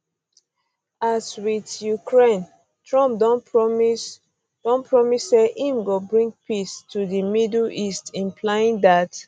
as wit um ukraine um trump don promise don promise say im go bring peace to di middle east implying dat